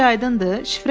Hər şey aydındır?